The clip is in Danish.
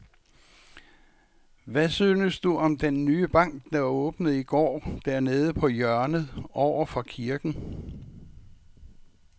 Hvad synes du om den nye bank, der åbnede i går dernede på hjørnet over for kirken?